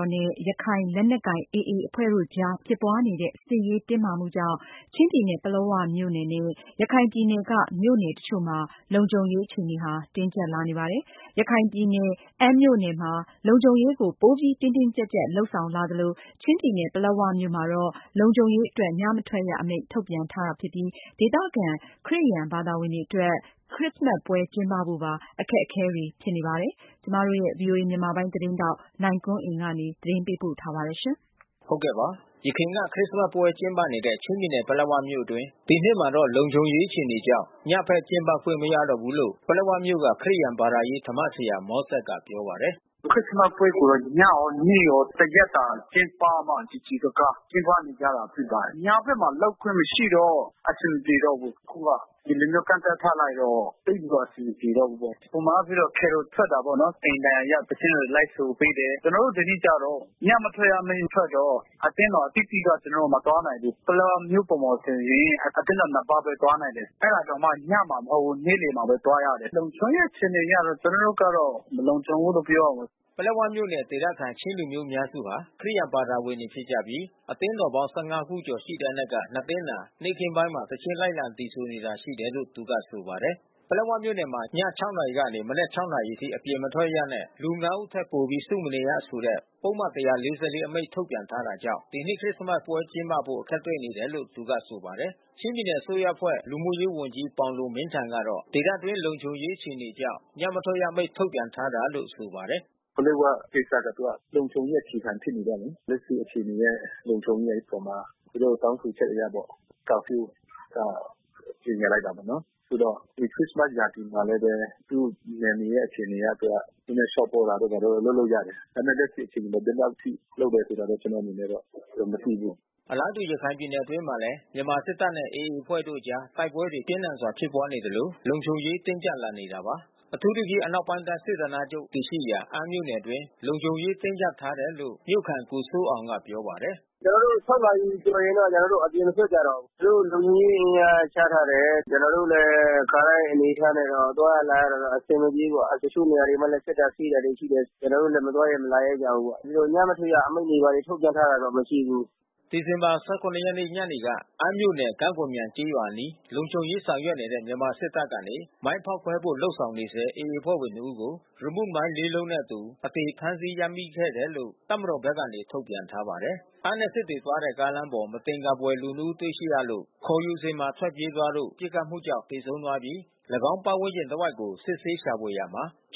ော်နဲ့ ရခိုင်လက်နက်ကိုင် AA အဖွဲ့တို့အကြားဖြစ်ပွါးနေတဲ့ စစ်ရေးတင်းမာမှုကြောင့် ချင်းပြည်နယ် ပလက်၀ မြို့နယ်နဲ့ ရခိုင်ပြည်နယ် မြို့နယ်တချို့မှာ လုံခြုံရေး တင်းကြပ်လာနေပါတယ်။ ရခိုင်ပြည်နယ် အမ်းမြို့နယ်မှာ လုံခြုံရေးကို ပိုပြီး တင်းတင်းကြပ်ကြပ် လုပ်ဆောင်လာသလို ချင်းပြည်နယ် ပလက်ဝမြို့မှာတော့ လုံခြုံရေးအတွက် ညမထွက်ရ အမိန့် ထုတ်ပြန်ထားတာ ဖြစ်ပြီး ဒေသခံ ခရစ်ယန်တွေ အတွက်တော့ ခရစ္စမတ်ပွဲ ကျင်းပဖို့ပါ အခက်အခဲတွေ ဖြစ်နေ တာပါ။ ဗွီအိုအေမြန်မာပိုင်း သတင်းထောက် နိုင်ကွန်းအိန်ကနေ သတင်းပေးပို့ ထားပါတယ်။ ယခင်က ခရစ်စမတ်ပွဲ ကျင်းပနေတဲ့ ချင်းပြည်နယ် ပလက်ဝမြို့အတွင်း ဒီနှစ်မှာတော့ လုံံခြုံရေးအခြေအနေကြောင့် ညဖက်ကျင်းပခွင့် မရတော့ဘူးလို့ ပလက်ဝမြို့က ခရစ်ယာန် ဘာသာရေးဓမ္မဆရာ မောဆက်ကပြောပါတယ်။ “ခရစ်စမတ်ပွဲကိုတော့ ညရောနေ့ရော တရက်တာကျင်းပမှ စည်စည်ကားကား ကျင်းပနေကြတာဖြစ်ပါတယ်။ ညဖက်မှာ လုပ်ခွင့်မရှိတော့ အဆင်မပြေတော့ဘူး။ အခုက ဒီလိုမျိုး ကန့်သတ်ထားလိုက်တော့ သိပ်ပြီးတော့ အဆင်မပြေ တော့ဘူး ပေါ့။ ပုံမှန်အားဖြင့်တော့ Carol ထွက်တာပေါ့နော် အိမ်တိုင်ယာရောက် သီချင်းတွေ လိုက်ဆိုပေးတယ်။ ကျွန်တော်တို့ ဒီနှစ် ကျတော့ ညမထွက်ရအမိန့်ထွက်တော့ အသင်းတော် အသီးသီးက ကျွန်တော်တို့ မသွားနိုင်ဘူး။ ပလက်ဝမြို့ပေါ်မှာ ဆိုရင် အသင်းတော် ပါးဘဲ သွားနိုင်တယ်။ အဲတာတောင်မှ ညမှာမဟုတ်ဘူး။ နေ့လယ်မှာဘဲ သွားရတယ်။ လုံခြုံရေးအခြေ အနေ အရတော့ ကျွန်တော်တို့ကတော့ မလုံခြုံဘူးလို့ပြောရမယ်။” ပလက်ဝမြို့နယ် ဒေသခံ ချင်းလူမျိုးအများစုဟာ ခရစ်ယာန်ဘာသာဝင်တွေ ဖြစ်ကြပြီး အသင်းတော်ပေါင်း ခုကျော် ရှိတဲ့အနက်က သင်းသာ နေ့ခင်းပိုင်းမှာ သီချင်း လိုက်လံဆိုနေတာ ရှိတယ်လို့ သူကဆိုပါတယ်။ ပလက်ဝမြို့နယ်မှာ ည နာရီကနေ မနက် နာရီအထိ အပြင်မထွက်ရနဲ့ လူ ဦးထက်ပိုပြီး စုမနေရဆိုတဲ့ ပုဒ်မ အမိန့် ထုတ်ပြန်ထားကြောင့် ဒီနှစ်ခရစ္စမတ်ပွဲ ကျင်းပဖို့ အခက်တွေ့နေတယ်လို့ သူကဆိုပါတယ်။ ချင်းပြည်နယ် အစိုးရအဖွဲ့ လူမှုရေးဝန်ကြီး ပေါင်လွန်မင်းထန် ကတော့ ဒေသအတွင်း လုံခြုံရေးအခြေအနေကြောင့် ညမ ထွက်ရအမိန့် ထုတ်ပြန်ထားတာလို့ ဆိုပါတယ်။ “ပလက်ဝကိစ္စကျ သူကလုံခြုံရေး အခြေခံဖြစ်နေတော့လေ လက်ရှိ အခြေအနေရဲ့လုံခြုံရေးအပေါ်မှာ သူတို့တောင်းဆိုခ ျက်အရပေါ့။ ကာဖြူး ကြေညာလိုက်တာ ပေါ့နော်။ ခုတော့ ဒီခရစ္စမတ် ရာသီမှာလည်းဘဲ သူ့နယ်မြေရဲ့အခြေအနေအရ သူက နည်းနည်း လျှော့ပေါ့တာတို့ လုပ်လို့ရတယ်။ ဒါပေမဲ့ လက်ရှိအခြေအနေတော့ ဘယ်လောက်အထိ လုပ်တာဆိုတာတော့ ကျွန်တော်အနေနဲ့ မသိဘူး။” အလားတူ ရခိုင်ပြည်နယ် အတွင်းမှာလည်း မြန်မာစစ်တပ်နဲ့ AAအဖွဲ့တို့ အကြား တိုက်ပွဲတွေ ပြင်းထန်စွာ ဖြစ်ပွါးနေသလို လုံခြုံရေး တင်းကြပ်လာနေတာပါ။ အထူးသဖြင့် အနောက်ပိုင်းတိုင်း စစ်ဌာနချုပ် တည်ရှိရာ အမ်းမြို့နယ်အတွင်း လုံခြုံရေး တင်းကြပ်ထားတယ်လို့ မြို့ခံ ကိုစိုးအောင်က ပြောပါတယ်။ “ကျွန်တော်တို့ နာရီကျော်ရင် အပြင်မထွက်ကြတော့ဘူး။ သူတို့ လုံခြုံရေး အင်အားချထားတယ်။ ကျွန်တော်တို့တော့ ခါတိုင်း အနေအထားနဲ့တော့ သွားရလာရတာတော့ အဆင်မပြေဘူးပေါ့။ တချို့နေရာမှာလည်း စစ်တာဆေးတာ ရှိတယ် ဆိုတော့ ကျွန်တော်တို့လည်း မသွားရဲမလာရဲကြဘူးပေါ့။ ညမထွက်ရ အမိန့်ထုတ်ပြန်ထားတာတော့ မရှိဘူး။” ဒီဇင်ဘာ ရက်နေ့ညနေက အမ်းမြို့နယ် ကံ့ကော်မြိုင် ကျေးရွာအနီး လုံခြုံရေး ဆောင်ရွက်နေတဲ့ မြန်မာစစ်တပ် ကနေ မိုင်းဖေါက်ခွဲ ဖို့လုပ်ဆောင်နေဆဲ AA အဖွဲ့ဝင် ၂ဦးကို ရီမုမိုင်းလေးလုံးနှင့်အတူ အသေဖမ်းဆီး ရမိခဲ့တယ်လို့ တပ်မတော်ဘက်က ထုတ်ပြန်ထားပါတယ်။ အမ်းနဲ့ စစ်တွေသွားတဲ့ ကားလမ်းပေါ် မသင်္ကာဖွယ် လူ ၂ ဦး တွေ့ရှိရလို့ ခေါ်ယူစဉ်မှာထွက်ပြေးသွားလို့ ပစ်ခတ်မှု ကြောင့် သေဆုံးသွားပြီး ၎င်းဝန်းကျင်တစ်ဝိုက်ကို စစ်ဆေးရှာဖွေရာ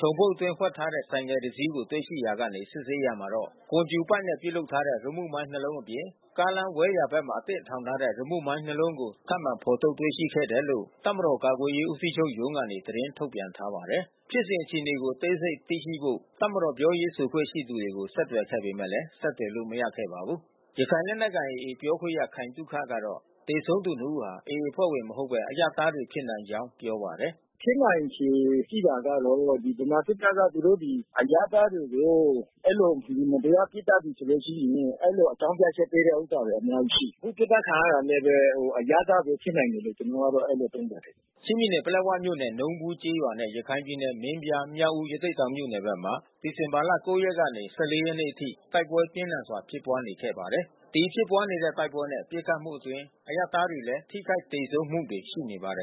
ချုံပုတ်အတွင်း ဝှက်ထားတဲ့ ဆိုင်ကယ်တစီးကို တွေ့ရှိရာကနေ စစ်ဆေးရာမှာ ကွန်ကြူပိုက်နဲ့ ပြုလုပ်ထားတဲ့ ရီမုမိုင်းနှစ်လုံးအပြင် ကားလမ်း ဝဲ/ယာဘက်မှာ အသင့်ထောင်ထားတဲ့ ရီမုမိုင်းနှစ်လုံးကို ထပ်မံဖော်ထုတ် တွေ့ရှိခဲ့တယ်လို့ တပ်မတော် ကာကွယ်ရေး ဦးစီးချုပ်ရုံး ကနေ သတင်းထုတ်ပြန်ထားပါတယ်။ ဖြစ်စဉ် အခြေအနေကို အသေးစိတ် သိရှိဖို့ တပ်မတော် ပြောရေးဆိုခွင့် ရှိသူတွေကို ဆက်သွယ်ခဲ့ပေမယ့် ဆက်သွယ်လို့ မရခဲ့ပါဘူး။ ရခိုင်လက်နက်ကိုင် AAပြောခွင့်ရ ခိုင်သုခကတော့ သေဆုံးသူ ၂ ်ဦးဟာ AA အဖွဲ့ဝင်မဟုတ်ဘဲ အရပ်သားတွေဖြစ်နိုင် ကြောင်းပြောပါတယ်။ “ဖြစ်နိုင်ချေ ရှိတာကတော့ ဗမာစစ်တပ်ဖက်က သူတို့ဒီ အရပ်သားတွေကို မတရားပစ်သတ်ပြီ ဆိုလို့ရှိရင် အဲဒီလို အကြောင်း ပြချက်ပေးတဲ့ ဟာတွေ အများကြီးရှိတယ်။ အခု ပစ်သတ်ခံရတာ လည်းဘဲ အရပ်သားတွေဖြစ်နိုင်တယ်လို့ ကျွန်တော်ကတော့ အဲဒီလိုသုံးသပ်တယ်။” ချင်းပြည်နယ် ပလက်ဝမြို့နယ် နုံးဘူးကျေးရွာနဲ့ ရခိုင်ပြည်နယ် မင်းပြား၊ မြောက်ဦး၊ ရသေ့တောင်မြို့နယ်ဖက်မှာ ဒီဇင်ဘာ ရက်နေ့ကနေ ရက်နေ့အထိ တိုက်ပွဲပြင်းထန်စွာ ဖြစ်ပွါးနေခဲ့ပါတယ်။ ဒီဖြစ်ပွါးနေတဲ့ တိုက်ပွဲနဲ့ ပစ်ခတ်မှုအတွင်း အရပ်သားတွေလည်း ထိခိုက်သေဆုံးမှုတွေ ရှိနေပါတယ်